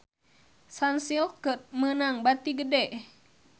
Sunsilk meunang bati gede